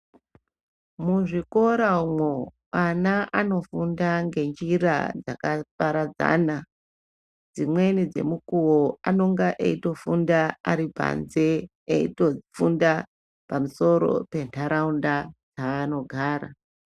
Muzvikora umwo ana anofunda ngenjira dzakaparadzana , dzimweni dzemukuwo anonga eitofunda atipanze eitofunda pamusoro penharaunda yaanogara